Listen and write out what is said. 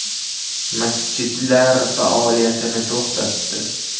Masjidlar faoliyatini to‘xtatdi .